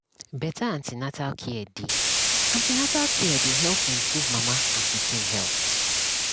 better an ten atal care dey an ten atal care dey help improve mama and pikin health